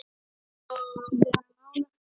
Vera nálægt honum?